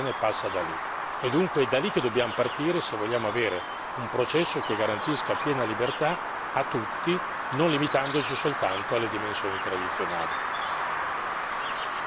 Oggi gran parte della comunicazione passa da lì e dunque è da lì che dobbiamo partire se vogliamo avere un processo che garantisca piena libertà a tutti, non limitandoci soltanto alle dimensioni tradizionali.